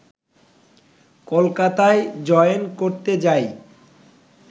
কলকাতায় জয়েন করতে যাই